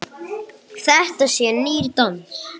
Þetta sé nýr dans.